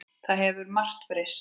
Það hefur margt breyst.